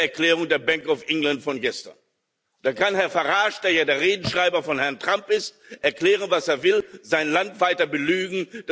Das ist die Erklärung der Bank of England von gestern. Da kann Herr Farage, der ja der Redenschreiber von Herrn Trump ist, erklären, was er will, sein Land weiter belügen.